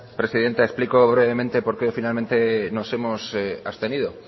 presidenta explico brevemente por qué finalmente nos hemos abstenido